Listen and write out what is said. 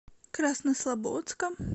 краснослободска